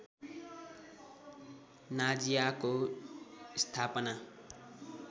नाजिआको स्थापना